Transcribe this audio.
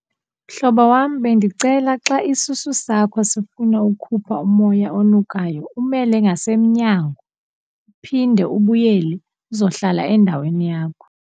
Mhlobo wam, bendicela xa isisu sakho sifuna ukukhupha umoya onukayo umele ngasemnyango, uphinde ubuyele uzohlala endaweni yakho.